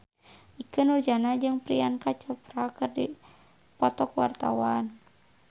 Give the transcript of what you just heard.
Ikke Nurjanah jeung Priyanka Chopra keur dipoto ku wartawan